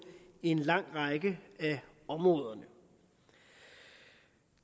en lang række af områderne